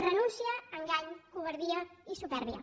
renúncia engany covardia i supèrbia